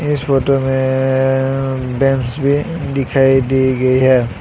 इस फोटो में बेंच भी दिखाई दी गई है।